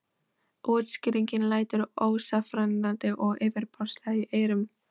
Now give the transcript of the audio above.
Útskýringin lætur ósannfærandi og yfirborðslega í eyrum.